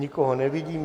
Nikoho nevidím.